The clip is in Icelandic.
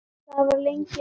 Það var lengi rautt.